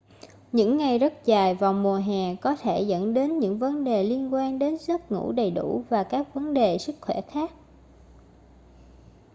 những ngày rất dài vào mùa hè có thể dẫn đến những vấn đề liên quan đến giấc ngủ đầy đủ và các vấn đề sức khỏe khác